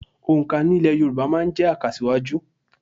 Òǹkà nílẹ̀ Yorùbá máa ń jẹ́ àkàsíwájú